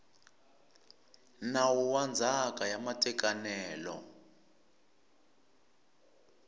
nawu wa ndzhaka ya matekanelo